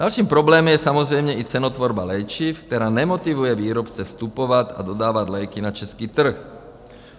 Další problém je samozřejmě i cenotvorba léčiv, která nemotivuje výrobce vstupovat a dodávat léky na český trh.